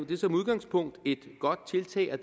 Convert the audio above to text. det er som udgangspunkt et godt tiltag og